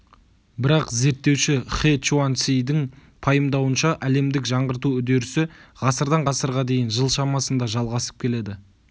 бірақ зерттеуші хэ чуаньцидің пайымдауынша әлемдік жаңғырту үдерісі ғасырдан ғасырға дейін жыл шамасында жалғасып келеді